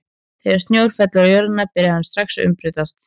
Þegar snjór fellur á jörðina byrjar hann strax að umbreytast.